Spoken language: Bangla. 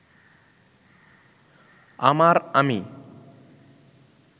আমার আমি